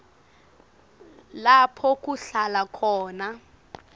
lapho kuhlala khona